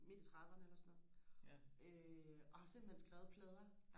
midt i trediverne eller sådan noget øh og har simpelthen skrevet plader